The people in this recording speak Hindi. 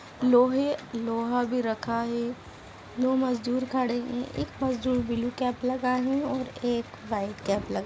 लोहे लोहा भी रखा है दो मजदूर खड़े है एक मजदूर ब्लू कैप लगाए है और एक व्हाइट कैप लगाए।